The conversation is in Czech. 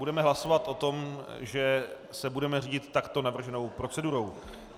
Budeme hlasovat o tom, že se budeme řídit takto navrženou procedurou.